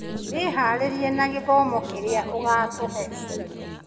Wĩharĩrie na gĩthomo kĩrĩa ũgatũhe